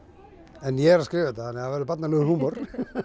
en ég er að skrifa þetta þannig að það verður barnalegur húmor